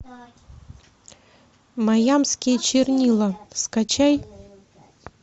маямские чернила скачай